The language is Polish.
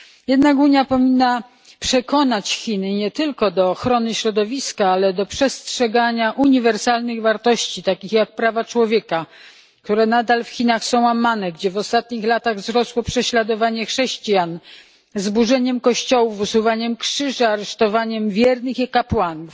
Jednak Unia powinna przekonać Chiny nie tylko do ochrony środowiska, ale do przestrzegania uniwersalnych wartości, takich jak prawa człowieka, które są nadal łamane w Chinach, gdzie w ostatnich latach wzrosło prześladowanie chrześcijan z burzeniem kościołów, usuwaniem krzyża, aresztowaniem wiernych i kapłanów.